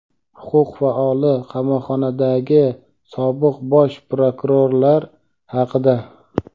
huquq faoli qamoqxonadagi sobiq bosh prokurorlar haqida.